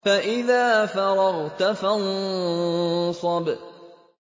فَإِذَا فَرَغْتَ فَانصَبْ